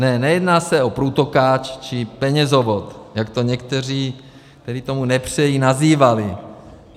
Ne, nejedná se o průtokáč či penězovod, jak to někteří, kteří tomu nepřejí, nazývali.